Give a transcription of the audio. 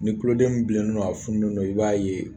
Ni tuloden in bilennen don, a funulen don , i b'a ye.